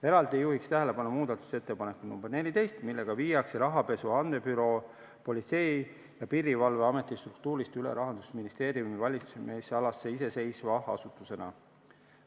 Eraldi juhin tähelepanu muudatusettepanekule nr 14, millega viiakse rahapesu andmebüroo Politsei- ja Piirivalveameti struktuurist üle Rahandusministeeriumi valitsemisalasse iseseisva asutusena.